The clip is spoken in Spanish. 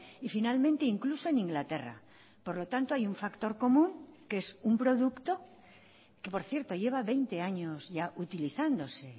y finalmente incluso en inglaterra por lo tanto hay un factor común que es un producto que por cierto lleva veinte años ya utilizándose